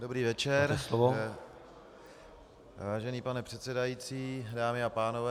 Dobrý večer, vážený pane předsedající, dámy a pánové.